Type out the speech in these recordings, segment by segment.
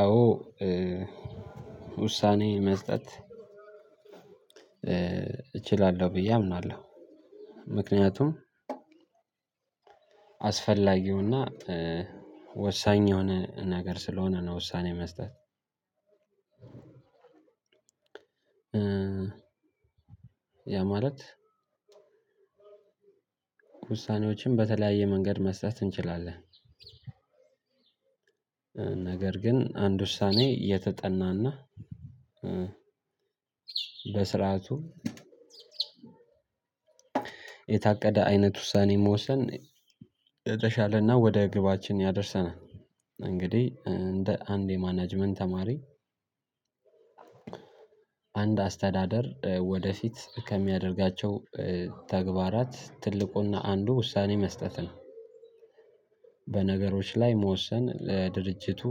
አዎ ውሳኔ መስጠት እችላለሁ ብዬ አምናለሁ ምክንያቱም አስፈላጊውና ወሳኝ የሆነ ነገር ስለሆነ ነው ውሳኔ መስጠት። ያ ማለት ውሳኔዎችን በተለያየ መንገድ መስጠት እንችላለን። ነገር ግን አንድ ውሳኔ የተጠናና በስርዓቱ የታቀደ አይነት ውሳኔ መወሰን የተሻለና ወደ ግባችን ያደርሰናል። እንግዲህ እንደ አንድ የማናጅመንት ተማሪ አንድ አስተዳደር ወደፊት ከሚያደርጋቸው ተግባራት ትልቁና አንዱ ውሳኔ መስጠት ነው። በነገሮች ላይ መወሰን ለድርጅቱ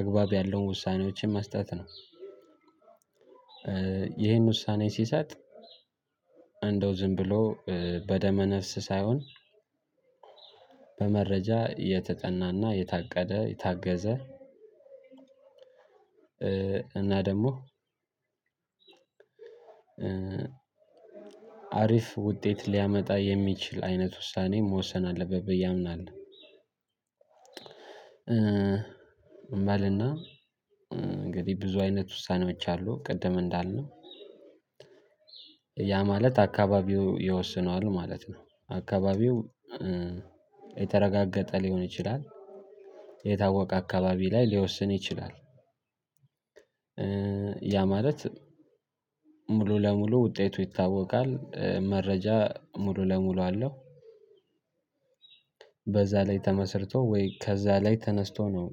አግባብ ያለውን ውሳኔዎችን መስጠት ነው። ይሄን ውሳኔ ሲሰጥ እንደው ዝም ብሎ በደመ ነፍስ ሳይሆን በመረጃ የተጠናና የታቀደ የታገዘ እና ደሞ አሪፍ ውጤት ሊያመጣ የሚችል አይነት ውሳኔ መወሰን አለበት ብዬ አምናለሁ። እምበልና እንግዲህ ብዙ አይነት ውሳኔዎች አሉ ቅድም እንዳልነው ያ ማለት አካባቢው ይወስነዋል ማለት ነው። አካባቢው የተረጋገጠ ሊሆን ይችላል የታወቀ አካባቢ ላይ ሊወስን ይችላል። ያ ማለት ሙሉ ለሙሉ ውጤቱ ይታወቃል መረጃ ሙሉ ለሙሉ አለው። በዛ ላይ ተመስርቶ ወይ ከዛ ላይ ተነስቶ ነው።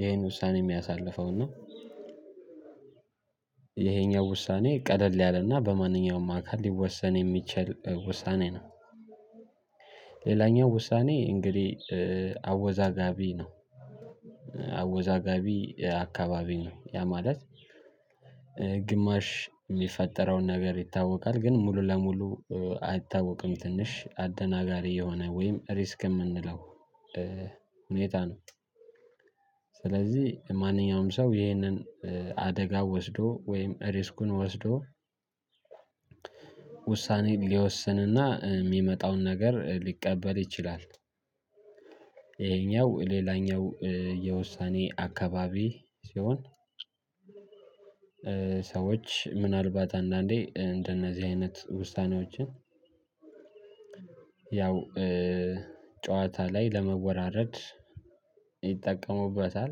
ይሄን ውሳኔ እሚያሳልፈውን ነው። ይሄኛው ውሳኔ ቀለል ያለና በማንኛውም አካል ሊወሰን የሚችል ውሳኔ ነው። ሌላኛው ውሳኔ እንግዲህ አወዛጋቢ ነው። አወዛጋቢ አካባቢ ነው ያ ማለት ግማሽ እሚፈጠረውን ነገር ይታወቃል ግን ሙሉ ለሙሉ አይታወቅም ትንሽ አደናጋሪ የሆነ ወይም ሪስክ የምንለው ሁኔታ ነው። ስለዚህ ማንኛውም ሰው ይህንን አደጋ ወስዶ ወይም ሪስኩን ወስዶ ውሳኔን ሊወስንና እሚመጣውን ነገር ሊቀበል ይችላል። ይሄኛው ሌላኛው የውሳኔ አካባቢ ሲሆን ሰዎች ምናልባት አንዳንዴ እንደነዚህ አይነት ውሳኔዎችን ያው ጨዋታ ላይ ለመወራረድ ይጠቀሙበታል።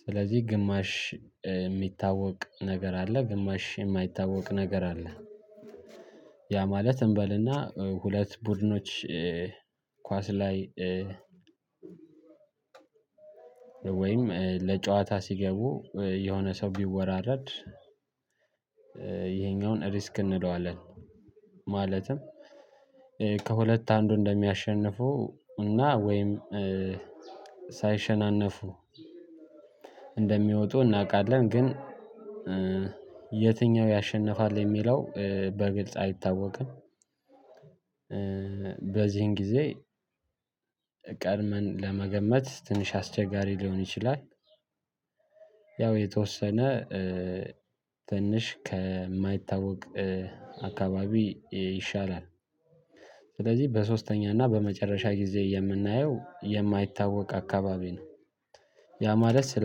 ስለዚህ ግማሽ እሚታወቅ ነገር አለ ግማሽ የማይታወቅ ነገር አለ። ያ ማለት እንበልና ሁለት ቡድኖች ኳስ ላይ ወይም ለጨዋታ ሲገቡ የሆነ ሰው ቢወራረድ ይሄኛውን ሪስክ እንለዋለን። ማለትም ከሁለት አንዱ እንደሚያሸንፉ እና ወይም ሳይሸናነፉ እንደሚወጡ እናቃለን ግን የትኛው ያሸንፋል የሚለው በግልጽ አይታወቅም። በዚህን ጊዜ ቀድመን ለመገመት ትንሽ አስቸጋሪ ሊሆን ይችላል። ያው የተወሰነ ትንሽ ከማይታወቅ አካባቢ ይሻላል። ስለዚህ በሶስተኛ እና በመጨረሻ ጊዜ የምናየው የማይታወቅ አካባቢ ነው። ያ ማለት ስለ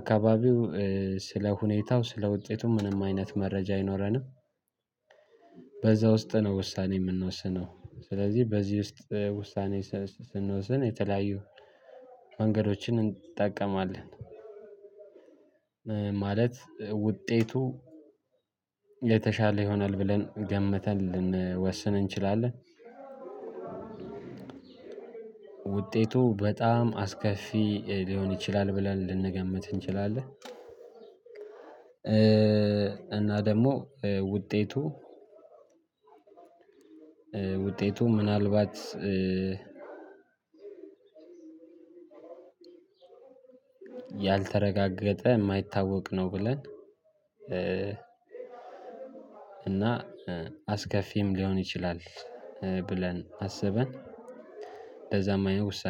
አካባቢው ስለ ሁኔታው ስለ ውጤቱ ምንም አይነት መረጃ አይኖረንም። በዛ ውስጥ ነው ውሳኔ የምንወስነው ስለዚህ በዚህ ውስጥ ውሳኔ ስንወስን የተለያዩ መንገዶችን እንጠቀማለን። ማለት ውጤቱ የተሻለ ይሆናል ብለን ገምተን ልንወስን እንችላለን። ውጤቱ በጣም አስከፊ ሊሆን ይችላል ብለን ልንገምት እንችላለን። እና ደሞ ውጤቱ ውጤቱ ምናልባት ያልተረጋገጠ እማይታወቅ ነው። ብለን እና አስከፊም ሊሆን ይችላል። ብለን አስበን ለዛ እማይሆን ውሳ